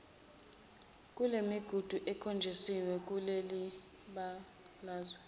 kulemigudu ekhonjisiwe kulelibalazwe